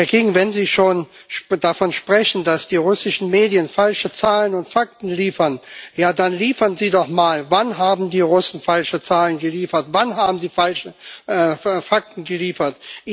Herr King, wenn Sie schon davon sprechen, dass die russischen Medien falsche Zahlen und Fakten liefern, ja dann sagen Sie doch mal, wann die Russen falsche Zahlen geliefert haben. Wann haben sie falsche Fakten geliefert?